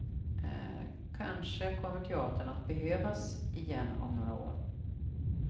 Kanske kommer teatern att behövas igen om några år.